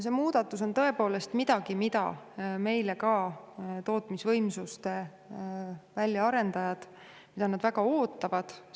See muudatus on tõepoolest miski, mida ka tootmisvõimsuste väljaarendajad väga ootavad.